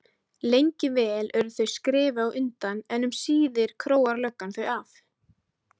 Lengi vel eru þau skrefi á undan en um síðir króar löggan þau af.